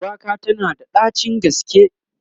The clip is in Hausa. shuwaka tana da ɗacin gaske